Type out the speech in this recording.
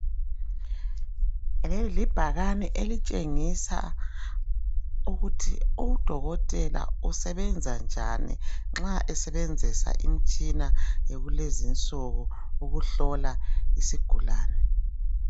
Leli libhakane elitshengisa ukuthi udokotela usebenza njani nxa esebenzisa imitshina yakulezi insuku ukuhlola isigulane.